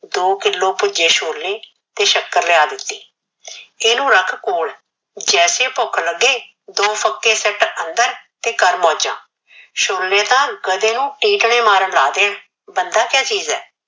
ਦੋ ਕਿਲੋ ਭੁਜੇ ਛੋਲੇ ਤੇ ਸ਼ਕਰ ਲਿਆ ਦਿਤੀ ਇਹਨੁ ਰਖ ਕੋਲ ਜੈਸੇ ਭੁਖ ਲਗੇ ਦੋ ਫ਼ਕੇ ਸੀਟ ਅੰਦਰ ਤੇ ਕਰ ਮੋਜਾ ਛੋਲੇ ਤਾ ਬੰਦੇ ਨੂ ਤਕੜੇ ਮਾਰਨ ਲਾ ਦੇਣ ਬੰਦਾ ਕਿਯਾ ਚੀਜ ਏ